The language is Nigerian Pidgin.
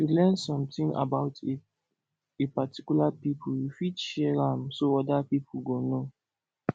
if you learn something about a a particular pipo you fit share am so oda pipo go know